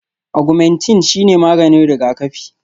Agwumentin shine maganin rigakafi